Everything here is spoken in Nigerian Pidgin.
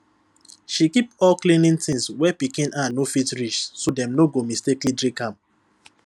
she keep all cleaning things where pikin hand no fit reach so dem no go mistakenly drink am